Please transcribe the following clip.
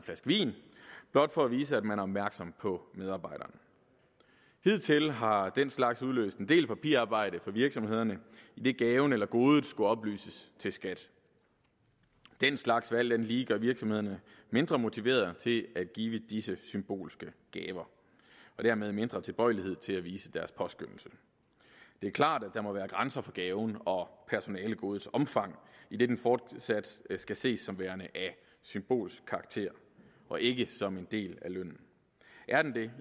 flaske vin blot for at vise at man er opmærksom på medarbejderen hidtil har den slags udløst en del papirarbejde for virksomhederne idet gaven eller godet skulle oplyses til skat den slags vil alt andet lige gøre virksomhederne mindre motiveret til at give disse symbolske gaver og dermed mindre tilbøjelige til at vise deres påskønnelse det er klart at der må være grænser for gavens og personalegodets omfang idet den fortsat skal ses som værende af symbolsk karakter og ikke som en del af lønnen er den det